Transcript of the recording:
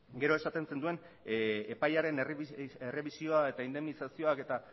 gero esaten zenuen epaiaren errebisioa eta indemnizazioak